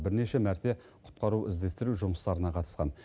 бірнеше мәрте құтқару іздестіру жұмыстарына қатысқан